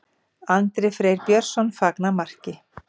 Andri Freyr Björnsson fagnar marki.